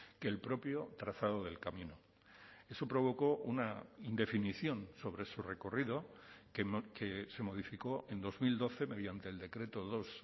que el propio trazado del camino eso provocó una indefinición sobre su recorrido que se modificó en dos mil doce mediante el decreto dos